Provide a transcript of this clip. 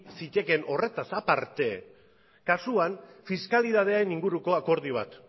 zitekeen horretaz aparte kasuan fiskalidadeen inguruko akordio bat